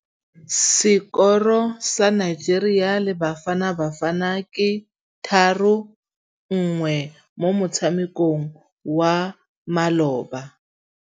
Sekôrô sa Nigeria le Bafanabafana ke 3-1 mo motshamekong wa malôba.